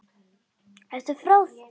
Ertu frá þér!